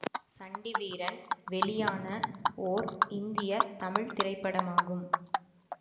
சண்டி வீரன் வெளியான ஓர் இந்திய தமிழ் திரைப்படமாகும்